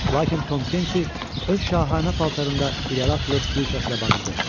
Lakin Tom Kenti öz şahanə paltarında irəli atılıb gür səslə bağırdı: